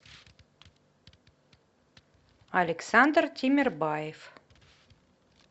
александр тимербаев